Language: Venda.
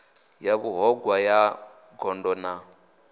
ya vhuṱhogwa ya gondo na